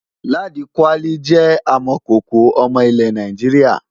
Ladi kwali jẹ́ amọ̀kòkò ọmọ ilẹ̀ Nàìjíríà.